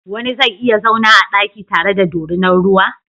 Wani zai iya zauna a daki tare da dorinar ruwa?